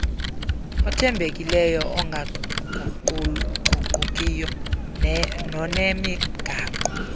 othembekileyo ongaguquguqiyo nonemigaqo